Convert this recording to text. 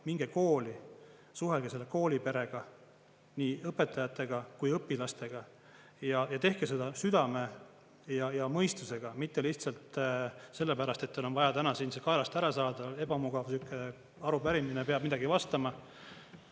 Minge kooli, suhelge selle kooliperega, nii õpetajate kui õpilastega, ja tehke seda südame ja mõistusega, mitte lihtsalt sellepärast, et teil on vaja täna siin see kaelast ära saada, ebamugav arupärimine, peab midagi vastama.